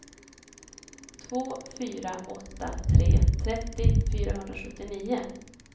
två fyra åtta tre trettio fyrahundrasjuttionio